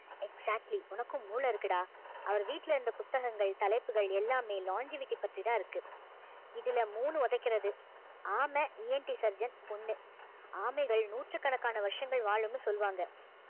exactly உனக்கும் மூளை இருக்குடா அவரு வீட்டுல இருந்த புத்தகங்கள் தலைப்புகள் எல்லாமே longevity பற்றிதான் இருக்கு இதுல மூணு உதைக்கிறது ஆமை ENT surgeon ஒண்ணு ஆமைகள் நூற்றுக்கணக்கான வருஷங்கள் வாழும்னு சொல்வாங்க